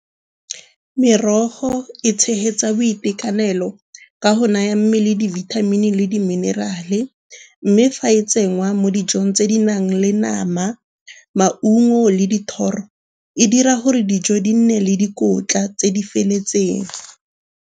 Merogo e tshegetsa boitekanelo ka go naya mmele dibithamini le di-mineral-e. Mme fa e tsenngwa mo dijong tse di nang le nama, maungo le dithoro e dira gore dijo di nne le dikotla tse di feletseng.